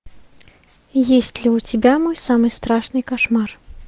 есть ли у тебя мой самый страшный кошмар